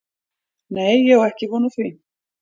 Nei ég á ekki von á því.